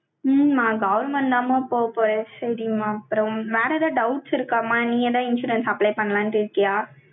உம் நான் government தாம்மா, போகப் போறேன். சரிம்மா, அப்புறம் வேற எதாவது doubts நீ யதன insurance apply பன்லான்ட்டு இருகிய